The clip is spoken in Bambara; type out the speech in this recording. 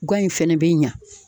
Gan in fɛnɛ bɛ ɲa.